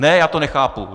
Ne, já to nechápu!